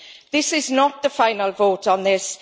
This is not the final vote on this.